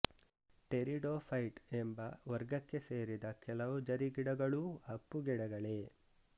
pteridophyte ಎಂಬ ವರ್ಗಕ್ಕೆ ಸೇರಿದ ಕೆಲವು ಜರಿ ಗಿಡಗಳೂ ಅಪ್ಪುಗಿಡಗಳೇ